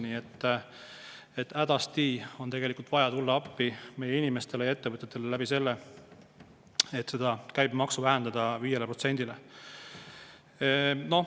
Nii et hädasti on vaja tulla appi meie inimestele ja ettevõtetele ning vähendada see käibemaks 5%-le.